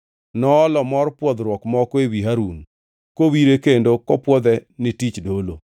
Noolo mor pwodhruok moko ewi Harun, kowire kendo kopwodhe ne tich dolo.